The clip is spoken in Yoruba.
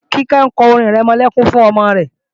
Kíkẹ́ ń kọ orin-ìrẹmọlẹ́kún fún ọmọ rẹ